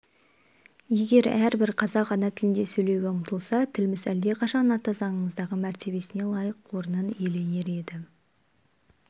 егер әрбір қазақ ана тілінде сөйлеуге ұмтылса тіліміз әлдеқашан ата заңымыздағы мәртебесіне лайық орнын иеленер еді